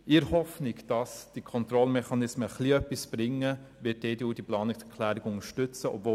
In der Hoffnung, dass die Kontrollmechanismen ein bisschen etwas bringen, wird die EDU die Planungserklärung unterstützen.